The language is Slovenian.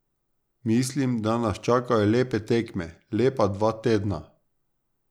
Mislim, da nas čakajo lepe tekme, lepa dva tedna.